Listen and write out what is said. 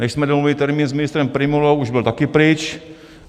Než jsme domluvili termín s ministrem Prymulou, už byl taky pryč.